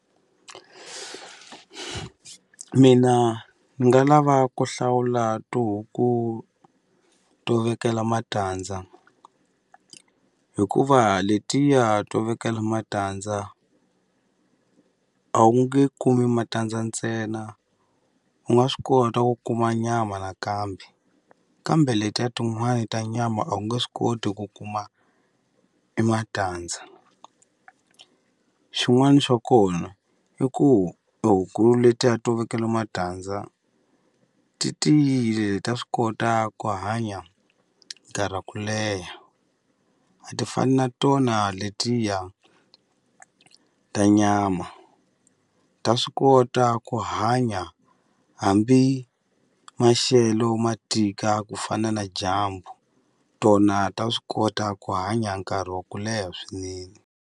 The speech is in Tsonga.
Mina ni nga lava ku hlawula tihuku to vekela matandza hikuva letiya to vekela matandza a wu nge kumi matandza ntsena u nga swi kota ku kuma nyama nakambe kambe letiya tin'wana ta nyama a wu nge swi koti ku kuma e matandza xin'wani xa kona i ku e huku letiya to vekela matandza ti tiyile ta swi kota ku hanya nkarhi wa ku leha a ti fani na tona letiya ta nyama ta swi kota ku hanya hambi maxelo ma tika ku fana na dyambu tona ta swi kota ku hanya nkarhi wa ku leha swinene.